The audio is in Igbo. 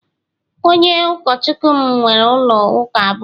Onye Ụkọchukwu m nwere ụlọ ụka abụọ